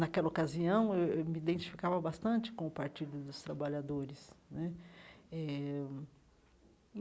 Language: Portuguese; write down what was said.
Naquela ocasião, eu eu me identificava bastante com o partido dos trabalhadores né eh.